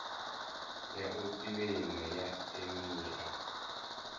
ya u kiḽeima ya emia